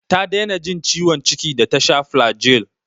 Ta daina jin ciwon ciki da ta sha flagyl.